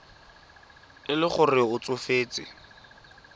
e le gore o tsofetse